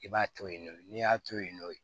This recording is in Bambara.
I b'a to yen nɔ n'i y'a to yen nɔ